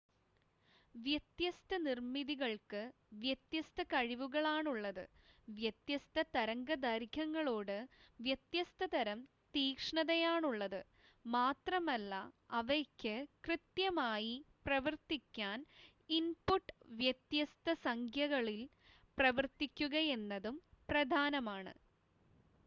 വ്യത്യസ്ത നിർമ്മിതികൾക്ക് വ്യത്യസ്ത കഴിവുകളാണുള്ളത് വ്യത്യസ്ത തരംഗദൈർഘ്യങ്ങളോട് വ്യത്യസ്തതരം തീക്ഷ്ണതയാണുള്ളത് മാത്രമല്ല അവയ്ക്ക് കൃത്യമായി പ്രവർത്തിക്കാൻ ഇൻപുട്ട് വ്യത്യസ്ത സംഖ്യകളിൽ പ്രവർത്തിക്കുകയെന്നതും പ്രധാനമാണ്